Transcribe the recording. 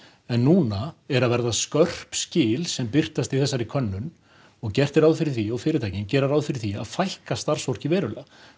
en núna er að verða skörp skil sem birtast í þessari könnun og gert er ráð fyrir því og fyrirtækin gera ráð fyrir því að fækka starfsfólki verulega